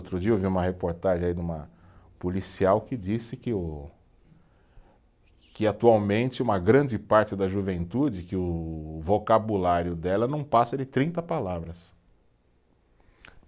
Outro dia eu vi uma reportagem aí de uma policial que disse que o, que atualmente uma grande parte da juventude, que o vocabulário dela não passa de trinta palavras.